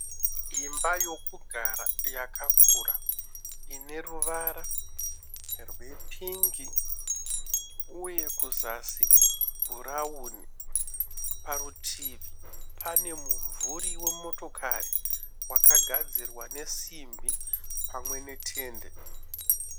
Imba yokugara yakakura ine ruvara rwepingi uye kuzasi bhurauni. Parutivi pane mumvuri wemotokari wakagadzirwa nesimbi pamwe netende.